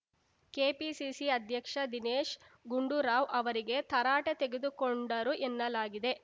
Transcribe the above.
KPCC ಅಧ್ಯಕ್ಷ ದಿನೇಶ್‌ ಗುಂಡೂರಾವ್‌ ಅವರಿಗೆ ತರಾಟೆ ತೆಗೆದುಕೊಂಡರು ಎನ್ನಲಾಗಿದೆ